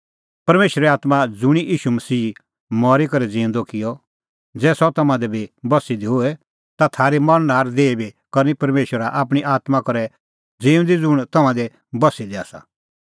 परमेशरे आत्मां ज़ुंणी ईशू मसीहा मरी करै ज़िऊंदअ किअ ज़ै सह तम्हां दी बी बस्सी दी होए ता थारी मरणहार देही बी करनी परमेशरा आपणीं आत्मां करै ज़िऊंदी ज़ुंण तम्हां दी बस्सी दी आसा